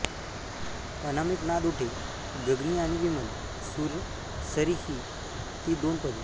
अनामिक नाद उठे गगनी आणि विमल सुर सरी ही ती दोन पदे